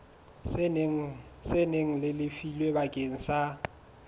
seng le lefilwe bakeng sa